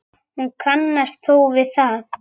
Hún kannast þó við það.